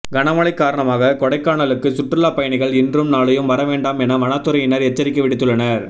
கனமழை காரணமாக கொடைக்கானலுக்கு சுற்றுலா பயணிகள் இன்றும் நாளையும் வர வேண்டாம் என வனத்துறையினர் எச்சரிக்கை விடுத்துள்ளனர்